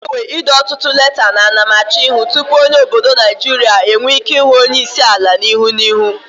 O n'enwe ide otutu leta ana m achoihu tupu onye obodo Nigeria enwe Ike hu onye isiala ihu na ihu